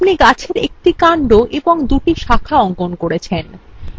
আপনি গাছের একটি কান্ড ও দুটি শাখা অঙ্কন করেছেন